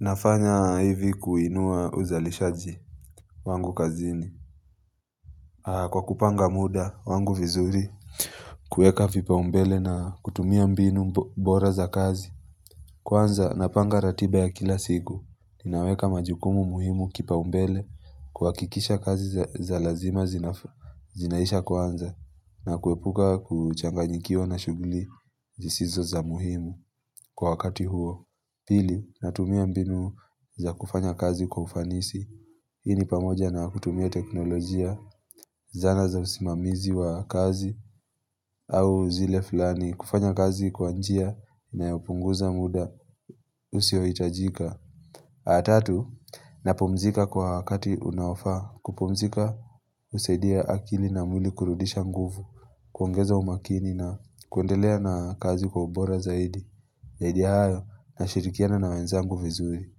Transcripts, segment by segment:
Nafanya hivi kuinua uzalishaji wangu kazini. Kwa kupanga muda wangu vizuri, kuweka vipaumbele na kutumia mbinu bora za kazi. Kwanza, napanga ratiba ya kila siku. Ninaweka majukumu muhimu kipaumbele, kuhakikisha kazi za lazima zinaisha kwanza, na kuepuka kuchanganyikiwa na shughuli zisizo za muhimu kwa wakati huo. Pili, natumia mbinu za kufanya kazi kwa ufanisi, hii ni pamoja na kutumia teknolojia, zana za usimamizi wa kazi au zile filani, kufanya kazi kwa njia inayopunguza muda, usio hitajika. Atatu, napumzika kwa wakati unaofaa, kupumzika, husaidia akili na mwili kurudisha nguvu, kuongeza umakini na kuendelea na kazi kwa ubora zaidi. Zaidi ya hayo, nashirikiana na wenzangu vizuri,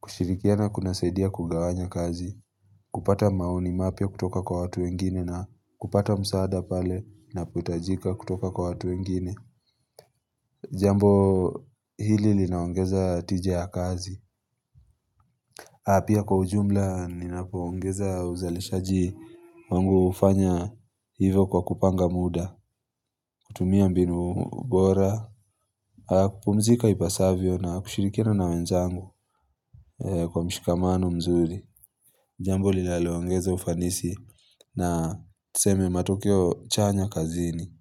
kushirikiana kunasaidia kugawanya kazi, kupata maoni mapia kutoka kwa watu wengine na kupata msaada pale unapohitajika kutoka kwa watu wengine. Jambo hili linaongeza tije ya kazi. Ha, pia kwa ujumla ninapo ongeza uzalishaji wangu hufanya hivyo kwa kupanga muda, kutumia mbinu bora, kupumzika ipasavyo na kushirikiana na wenzangu. Kwa mshikamano mzuri Jambo linalo ongeza ufanisi na tuseme matokeo chanya kazini.